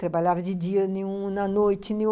Trabalhava de dia em um, na noite em outro.